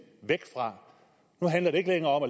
herre